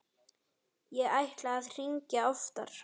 Ég ætlaði að hringja oftar.